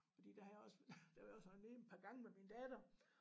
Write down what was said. Fordi der har jeg også der har vi også været nede en par gange med min datter